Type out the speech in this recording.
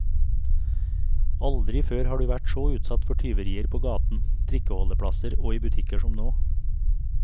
Aldri før har du vært så utsatt for tyverier på gaten, trikkeholdeplasser og i butikker som nå.